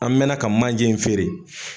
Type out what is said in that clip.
An mɛna ka manje in feere